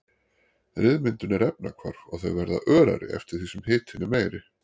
Ryðmyndun er efnahvarf og þau verða örari eftir því sem hitinn er meiri.